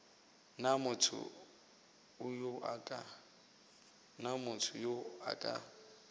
na motho yo a ka